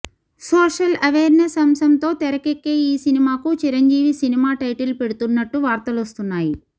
social awareness అంశంతో తెరకెక్కే ఈ సినిమాకు చిరంజీవి సినిమా టైటిల్ పెడుతున్నట్టు వార్తలొస్తున్నాయి